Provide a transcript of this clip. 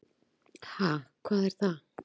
"""Ha, hvað er það?"""